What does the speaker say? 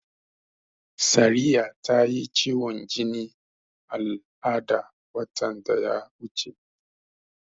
Sariya ta yi ciwon jinin al'ada watan da ya wuce.